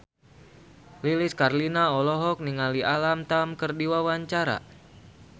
Lilis Karlina olohok ningali Alam Tam keur diwawancara